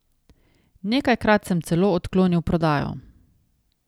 Nekajkrat sem celo odklonil prodajo.